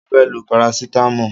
Mo fẹ́ lo parasitamọ́ọ̀.